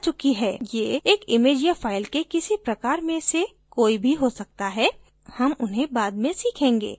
ये एक image या file के किसी प्रकार में से कोई भी हो सकता है हम उन्हें बाद में सीखेंगे